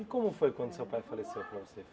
E como foi quando seu pai faleceu para você?